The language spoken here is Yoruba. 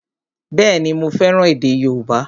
Bẹ́ẹ̀ni, mo fẹ́ràn èdè yóòbá